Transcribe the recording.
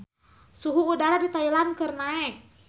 Suhu udara di Thailand keur naek